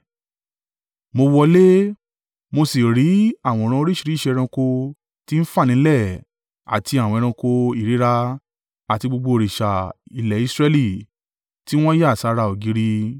Mo wọlé, mo sì rí àwòrán oríṣìíríṣìí ẹranko tí ń fà nílẹ̀ àti àwọn ẹranko ìríra àti gbogbo òrìṣà ilẹ̀ Israẹli tí wọ́n yà sára ògiri.